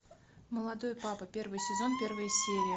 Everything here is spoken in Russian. молодой папа первый сезон первая серия